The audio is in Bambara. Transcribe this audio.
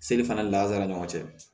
Seli fana lasara ni ɲɔgɔn cɛ